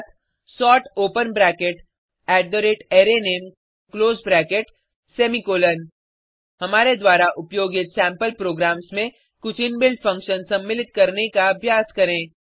अर्थात sort open bracket arrayName close bracket semicolon हमारे द्वारा उपयोगित सेम्पल प्रोग्राम्स में कुछ इनबिल्ट फंक्शन सम्मिलित करने का अभ्यास करें